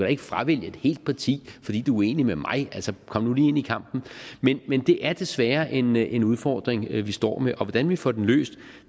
ikke fravælge et helt parti fordi du er enig med mig kom nu lige ind i kampen men det er desværre en en udfordring vi står med og hvordan vi får den løst